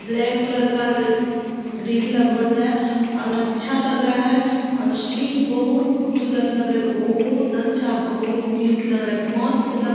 black colour का रि म ग्रील लगवल है और अच्छा लग रहा है और शीन बहुत खुबसूरत लग रहा है बहुत अच्छा बहुत क्यूट लग रहा है मस्त लग--